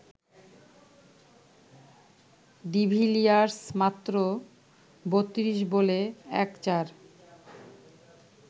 de Villiers মাত্র ৩২ বলে ১ চার